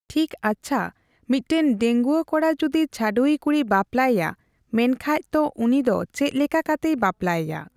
ᱴᱷᱤᱠ ᱟᱪᱪᱷᱟ ᱢᱤᱴᱮᱱ ᱰᱟᱹᱜᱩᱭᱟᱹ ᱠᱚᱲᱟ ᱡᱩᱫᱤ ᱪᱷᱟᱹᱰᱣᱭᱤ ᱠᱩᱲᱤ ᱵᱟᱯᱞᱟᱭᱮᱭᱟ ᱢᱮᱱᱠᱷᱟᱡ ᱛᱚ ᱩᱱᱤ ᱫᱚ ᱪᱮᱫ ᱞᱮᱠᱟ ᱠᱟᱛᱮᱭ ᱵᱟᱯᱞᱟᱭᱮᱭᱟ ᱾